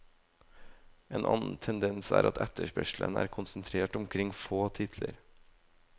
En annen tendens er at etterspørselen er konsentrert omkring få titler.